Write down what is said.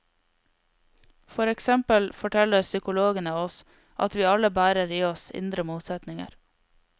For eksempel forteller psykologene oss at vi alle bærer i oss indre motsetninger.